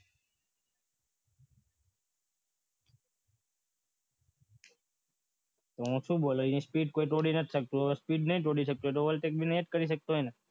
હું શું બોલ્યો એ સ્પીડ કોઈ તોડી નાખ શકતો તો નહીં તોડી શકતું હોય તો ઓવર નહી કરી શકતો હોય ને